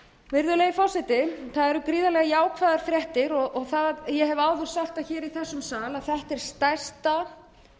virðulegi forseti það eru gríðarlega jákvæðar fréttir og ég hef áður sagt í þessum sal að þetta er stærsta